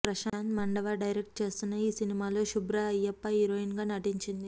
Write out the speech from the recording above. Prashanth Mandava direct చేస్తున్న ఈ సినిమాలో శుబ్ర అయ్యప్ప హీరోయిన్ గా నటించింది